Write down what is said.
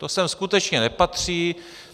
To sem skutečně nepatří.